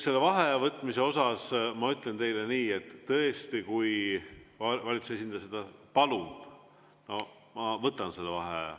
Selle vaheaja võtmise kohta ma ütlen teile nii, et tõesti, kui valitsuse esindaja seda palub, ma võtan selle vaheaja.